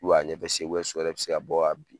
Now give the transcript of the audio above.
a ɲɛfɛ sen so yɛrɛ bɛ se ka bɔ ka bin.